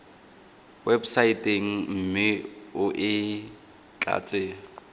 websaeteng mme o e tlatse